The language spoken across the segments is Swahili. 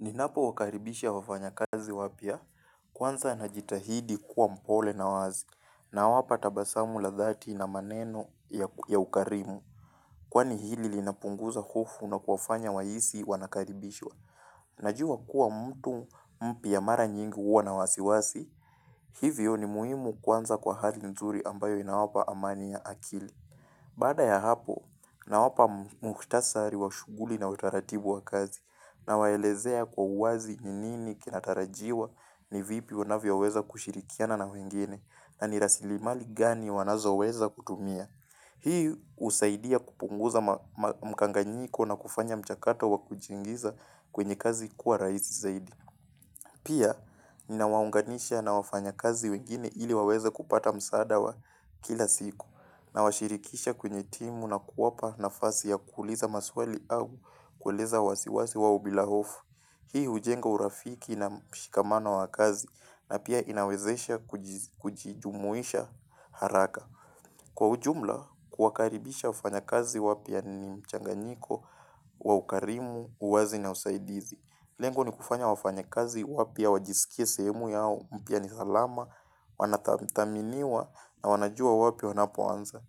Ninapo wakaribisha wafanyakazi wapya, kwanza najitahidi kuwa mpole na wazi, nawapa tabasamu la dhati na maneno ya ukarimu, kwani hili linapunguza hofu na kuwafanya wahisi wanakaribishwa. Najua kuwa mtu mpya mara nyingi huwa na wasiwasi, hivyo ni muhimu kuanza kwa hali nzuri ambayo inawapa amani ya akili. Baada ya hapo, nawapa mukhtasari wa shughuli na utaratibu wa kazi nawaelezea kwa uwazi ni nini kinatarajiwa ni vipi wanavyoweza kushirikiana na wengine na ni rasilimali gani wanazoweza kutumia. Hii husaidia kupunguza mkanganyiko na kufanya mchakato wa kujiingiza kwenye kazi kuwa rahisi zaidi. Pia, ninawaunganisha na wafanyakazi wengine ili waweze kupata msaada wa kila siku nawashirikisha kwenye timu na kuwapa nafasi ya kuuliza maswali au kueleza wasiwasi wao bila hofu. Hii hujenga urafiki na mshikamano wa kazi na pia inawezesha kujijumuisha haraka. Kwa ujumla, kuwakaribisha wafanyakazi wapya ni mchanganyiko wa ukarimu, uwazi na usaidizi. Lengo ni kufanya wafanyakazi wapya wajisikie sehemu yao, mpya ni salama, wanathaminiwa na wanajua wapi wanapoanza.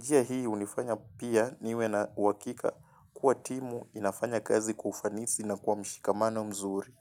Pia hii hunifanya pia niwe na uakika kuwa timu inafanya kazi kwa ufanisi na kwa mshikamano mzuri.